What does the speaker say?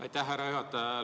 Aitäh, härra juhataja!